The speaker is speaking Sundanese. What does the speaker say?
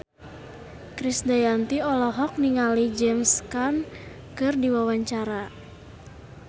Krisdayanti olohok ningali James Caan keur diwawancara